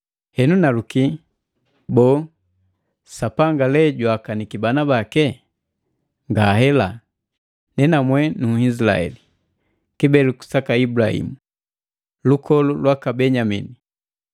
Henu naluki, boo, Sapanga lee jwaakaniki bana bake? Ngahela! Nenamwe Nunhisilaeli, kibeleku saka Ibulahimu, lukolu lwaka Benyamini.